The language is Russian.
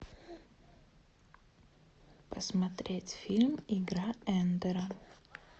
посмотреть фильм игра эндера